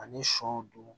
Ani sɔ don